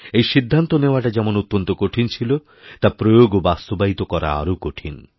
এই সিদ্ধান্তনেওয়াটা যেমন অত্যন্ত কঠিন ছিল তা প্রয়োগ ও বাস্তবায়িত করা আরও কঠিন